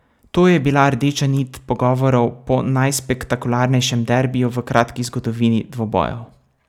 To je bila rdeča nit pogovorov po najspektakularnejšem derbiju v kratki zgodovini dvobojev.